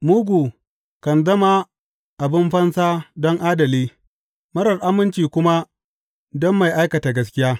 Mugu kan zama abin fansa don adali, marar aminci kuma don mai aikata gaskiya.